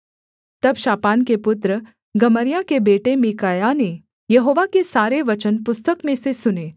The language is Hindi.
तब शापान के पुत्र गमर्याह के बेटे मीकायाह ने यहोवा के सारे वचन पुस्तक में से सुने